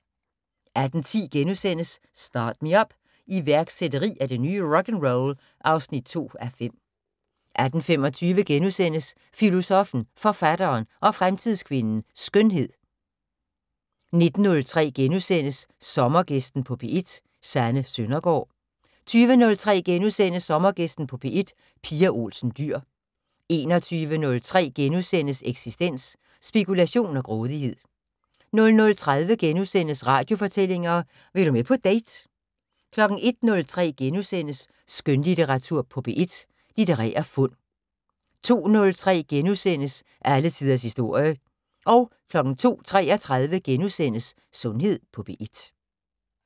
18:10: Start Me Up - iværksætteri er det nye rock'n'roll (2:5)* 18:25: Filosoffen, Forfatteren og Fremtidskvinden - Skønhed * 19:03: Sommergæsten på P1: Sanne Søndergaard * 20:03: Sommergæsten på P1: Pia Olsen Dyhr * 21:03: Eksistens: Spekulation og grådighed * 00:30: Radiofortællinger: Vil du med på date? * 01:03: Skønlitteratur på P1: Litterære fund * 02:03: Alle tiders historie * 02:33: Sundhed på P1 *